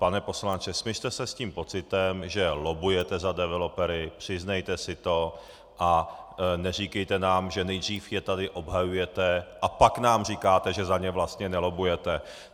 Pane poslanče, smiřte se s tím pocitem, že lobbujete za developery, přiznejte si to a neříkejte nám, že nejdřív je tady obhajujete, a pak nám říkáte, že za ně vlastně nelobbujete.